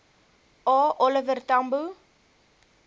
a oliver tambo